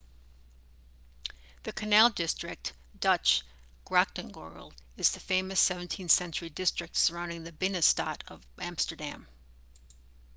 the canal district dutch: grachtengordel is the famous 17th-century district surrounding the binnenstad of amsterdam